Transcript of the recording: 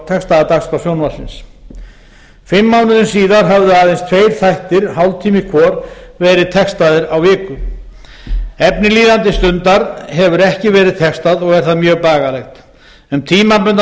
textaða dagskrá sjónvarpsins fimm mánuðum síðar höfðu aðeins tveir þættir hálftími hvor verið textaðir á viku efni líðandi stundar hefur ekki verið textað og er það mjög bagalegt um tímabundna fjárveitingu